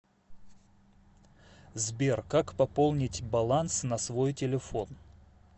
сбер как пополнить баланс на свой телефон